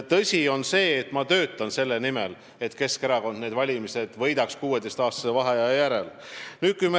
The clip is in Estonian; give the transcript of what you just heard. Aga on tõsi, et ma töötan selle nimel, et Keskerakond Riigikogu valimised 16-aastase vaheaja järel võidaks.